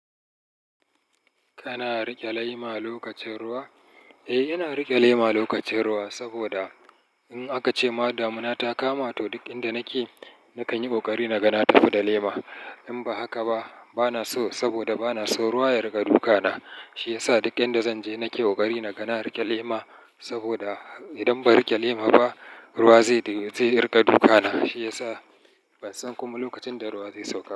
Kana riƙe lema lokacin ruwa? Eh, ina riƙe lema lokacin ruwa saboda in aka ce ma damuna ta kama to duk inda nake nakan yi ƙoƙari na ga na tafi da lema. In ba haka ba, bana so saboda bana so ruwa ya riga duka na. Shi ya sa duk inda zan je nake ƙoƙari na ga na riƙe lema saboda idan ban riƙe lema ba, ruwa zai riƙa duka na. Shi ya sa ban san kuma lokacin da ruwa zai sauka ba.